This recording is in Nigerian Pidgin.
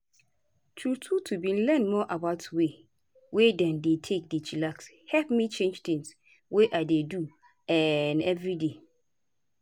true true to bin learn more about way wey dem dey take dey chillax hep me change tins wey i dey do um everyday.